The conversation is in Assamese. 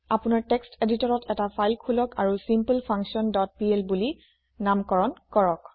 আপুনাৰ টেক্সট এদিতৰত এটা ফাইল খোলক আৰু ছিম্পলফাংকশ্যন ডট পিএল বুলি নামাকৰণ কৰক